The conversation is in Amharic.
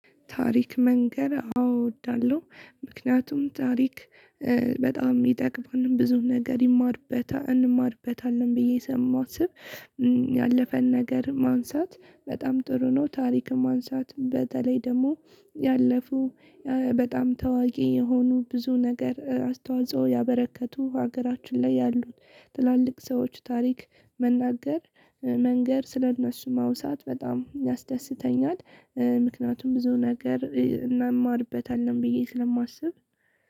ታሪክ መንገር አወ እወዳለሁ። ምክንያቱም ታሪክ በጣም የሚጠቅመንን ብዙ ነገር እንማርበታለን ብዬ ስለማስብ ያለፈን ነገር ማንሳት በጣም ጥሩ ነው። ታሪክ ማንሳት በተለይ ደግሞ ያለፉ በጣም ታዋቂ የሆኑ ብዙ ነገር አስተዋጽኦ ያበረከቱ ሀገራችን ላይ ያሉት ትላልቅ ሰዎች ታሪክ መንገር ስለ እነሱ ማውሳት በጣም ያስደስተኛል። ምክንያቱም ብዙ ነገር እንማርበታለን ብዬ ስለማስብ።